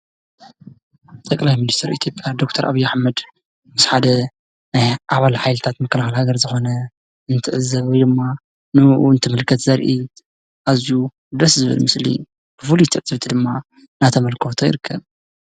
ጠቅላይ ሚኒስተር ኢያ/ ምስ ሓደ ኣባልሃገር ምክልካል ዝኮነ እትዕዘብ ወይ ድማ ኣዝዩ ፉሉይ ትዕዝብቲ ድማእዳተመልከቶ ይርከብ።